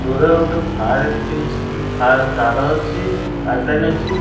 ଦୂରରେ ଗୋଟେ fire extinguisher fire ତାର ଅଛି ପାଇପ୍ଲାଇନ୍ ଅଛି।